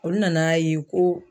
Olu nana ye ko